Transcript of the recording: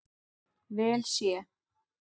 vel sé.